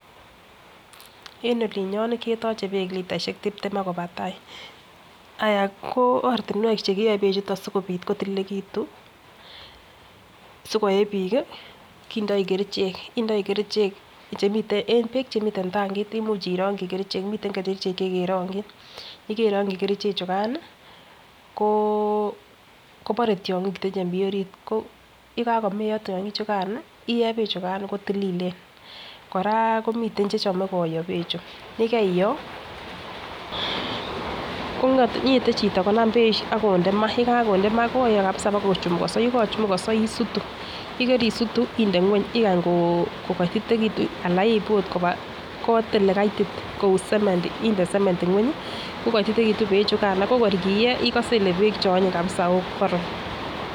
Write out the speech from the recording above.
En olinyon ketoche beek litaishek tiptem ak koba tai aya ko ortinwek chekiyoe beek chuu sikopit kotililekitun sikoyee bik kii indoi kerichek chemiten en beek chemiten tankit imuche irongi kerichek miten kerichek chekerongin yekeirongi kerichek chukan nii koo kobore tyonkik chemiten en orit. Yekokomeyo tyonkik chukan iyee beek chukan kotililen, Koraa ko miten che chome koyoo beek chuu yekiiyoo kongeten chito konam beek ak konde maa yekakonde maa koyoo kabisa bokochumukoso , yekochumukoso isutu yekeisutu inde ngweny ikany ko kotitekitu anan iib ot koba kot ole kaiti kou semendi inde semendi ngweny ko kotitekitu beek chukan ako kor kiyee ikose kole beek cheonyiny kabisa okoron.